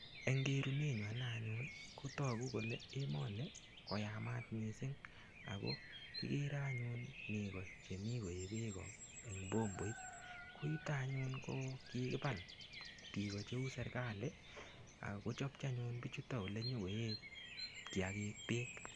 Eng' kerunenyu ane anyun kotoku kole emoni koyamat mising' ako kikere anyun nego chemi koee beko eng' bomboit koyuto anyun ko kikibal biko cheu serikali akechopchi anyun bichuto ole nyikoee kiyakik beek